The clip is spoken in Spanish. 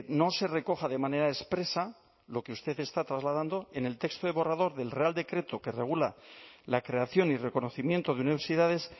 no se recoja de manera expresa lo que usted está trasladando en el texto del borrador del real decreto que regula la creación y reconocimiento de universidades